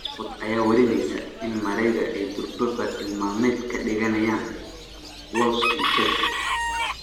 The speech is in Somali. SunSport ayaa warineysa in Marega ay durba bartilmaameed ka dhiganayaan Wolves iyo Chelsea.